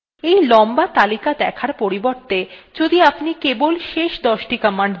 এই লম্বা তালিকা দেখার পরিবর্তে যদি আপনি কেবল শেষ দশটি দেখতে চান